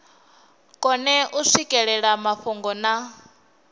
kone u swikelela mafhungo na